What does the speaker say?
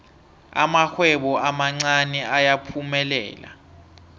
amarhwebo amancani ayaphumelela